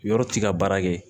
Yɔrɔ t'i ka baara kɛ